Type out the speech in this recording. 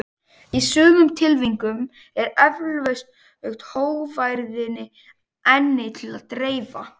Í sumum tilvikum er eflaust hógværðinni einni til að dreifa.